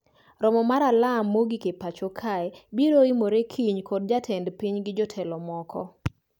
Romo ma alarm mogik e pacho kae biro yimore kiny kod jatend piny gi jotelo moko